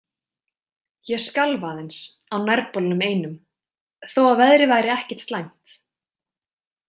Ég skalf aðeins, á nærbolnum einum, þó að veðrið væri ekkert slæmt.